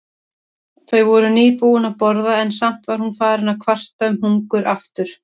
Þau voru nýbúin að borða en samt var hún farin að kvarta um hungur aftur.